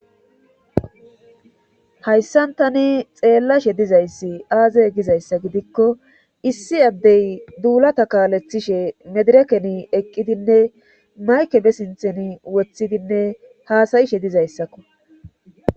hayssan tani xeellashe dizayssi aaze gizayssa gidikko issi addey duulata kaalethishe medirekeni eqqidinne mayke be sinthen woththidinne haasayishe dizayssakko